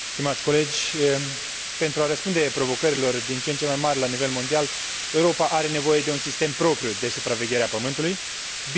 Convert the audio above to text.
Pentru a răspunde provocărilor din ce în ce mai mai mari la nivel mondial, Europa are nevoie de un sistem propriu de supraveghere a Pământului, bine coordonat și fiabil.